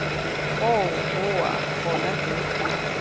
koo boa gone teng fa